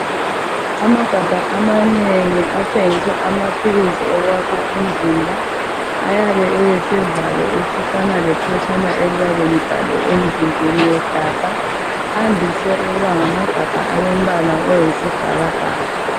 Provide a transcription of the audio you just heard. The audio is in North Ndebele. Amagabha amanengi athengiswa amaphilisi okwakha umzimba ayaba elesivalo esifana lephetshana eliyabe libhalwe emzimbeni wegabha. Andise ukuba ngamagabha alombala oyisibhakabhaka.